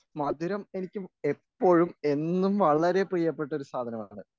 മധുരം എനിക്ക് എപ്പോഴും എന്നും വളരെ പ്രിയപ്പെട്ട ഒരു സാധനമാണ്.